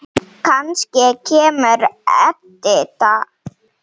Kannski kemur Edita.